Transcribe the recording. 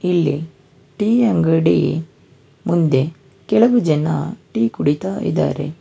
ಇಲ್ಲಿ ಟೀ ಅಂಗಡಿ ಮುಂದೆ ಕೆಲವು ಜನ ಟೀ ಕುಡಿತಾ ಇದಾರೆ.